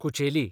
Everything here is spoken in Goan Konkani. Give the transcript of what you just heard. कुचेली